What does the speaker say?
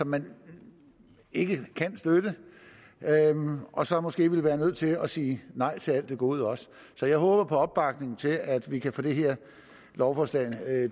man ikke kan støtte og så måske vil være nødt til at sige nej til alt det gode også så jeg håber på opbakning til at vi kan få det her lovforslag